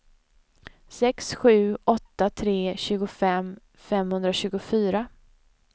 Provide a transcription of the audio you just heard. sex sju åtta tre tjugofem femhundratjugofyra